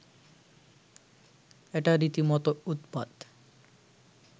এটা রীতিমতো উৎপাত